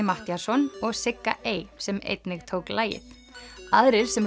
Matthíasson og Sigga ey sem einnig tók lagið aðrir sem